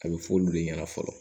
A bɛ fɔ olu de ɲɛna fɔlɔ